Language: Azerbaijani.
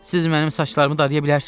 Siz mənim saçlarımı darıya bilərsiz?